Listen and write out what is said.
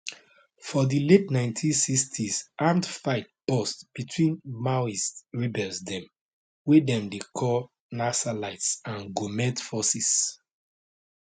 for di late 1960s armed fight burst between maoist rebels dem wey dem dey call naxalites and goment forces